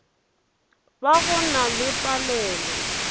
ba go na le palelo